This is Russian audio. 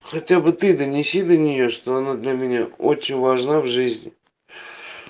хотя бы ты донеси до неё что она для меня очень важна в жизни